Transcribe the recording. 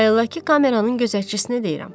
Bayaldakı kameranın gözətçisinə deyirəm.